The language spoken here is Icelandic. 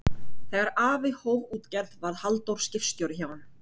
Þegar afi hóf útgerð varð Halldór skipstjóri hjá honum.